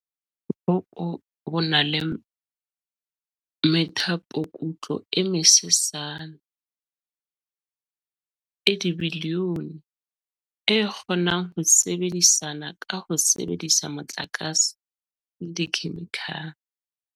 "Boko bo na le methapokutlo e mesesane, e dibilione, e kgonang ho sebedisana ka ho sebedisa motlakase le dikhemikhale."